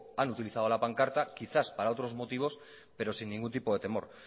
han utilizado la pancarta quizás para otros motivos pero sin ningún tipo de temor